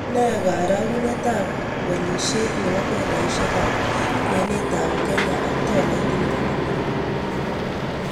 Ne karogunetap walisiet ne po fedhaisiek ap kwenetap Kenya ak tolait ne po Amerika